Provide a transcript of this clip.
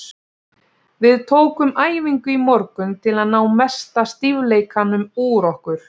Við tókum æfingu í morgun til að ná mesta stífleikanum úr okkur.